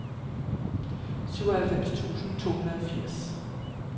syvoghalvfems tusind to hundrede og firs